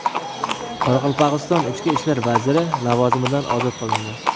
Qoraqalpog‘iston ichki ishlar vaziri lavozimidan ozod qilindi.